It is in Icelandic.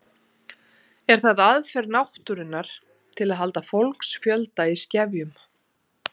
Er það aðferð náttúrunnar til að halda fólksfjölda í skefjum?